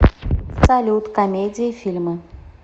салют комедии фильмы